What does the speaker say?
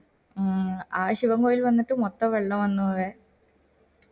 മ് ആശുവങ്ങൾ വന്നിട്ട് മൊത്തം വെള്ളം വന്നു വേ